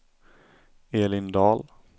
Elin Dahl